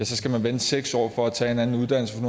skal man vente seks år på at tage en anden uddannelse